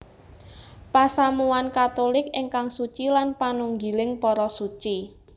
Pasamuwan Katulik ingkang suci lan panunggiling para Suci